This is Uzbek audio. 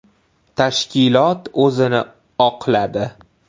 Tashkilot o‘zini oqladi.